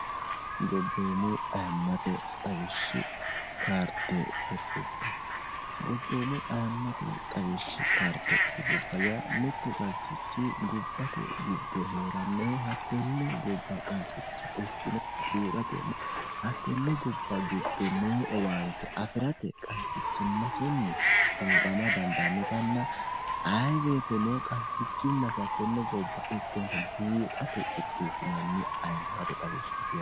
gobboommu ayiimmate xawishsha kaarde fushshubba. ayimmate xawishshi kaarte birsubba ya mittu qansichi gobbate giddo hee'rannohu hattenne gobba qansicha ikkinotta buuxatenna hattenne gobba giddo noo owaante afi'rate qansichimmasinni buuxama dandaannotanna ayiwoyiiteno qansichimmasi hattenne gobba ikkinota buuxate qixxeessinanni ayimmate xawishshati.